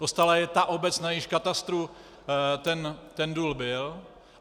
Dostala je ta obec, na jejímž katastru ten důl byl.